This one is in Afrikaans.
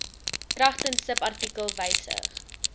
kragtens subartikel wysig